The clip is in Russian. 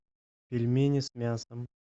пельмени с мясом